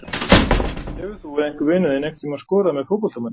Hefur þú eða einhver vinur þinn einhvern tíma skorað með fótboltamanni?